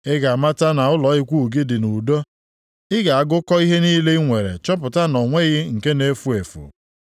Ị ga-amata na ụlọ ikwu gị dị nʼudo; ị ga-agụkọ ihe niile i nwere chọpụta na o nweghị nke na-efu efu.